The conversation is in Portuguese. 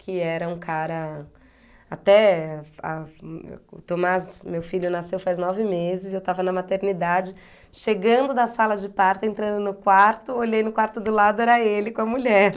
que era um cara... Até, a o Tomás, meu filho nasceu faz nove meses e eu estava na maternidade, chegando da sala de parto, entrando no quarto, olhei no quarto do lado, era ele com a mulher.